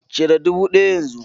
Cire dubu ɗaya yanzu!